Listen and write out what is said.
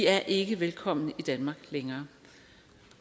er ikke velkomne i danmark længere